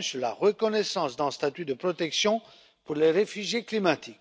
sur la reconnaissance d'un statut de protection pour les réfugiés climatiques.